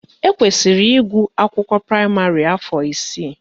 Ekwesiri ịgụ akwụkwọ praịmarị afọ isii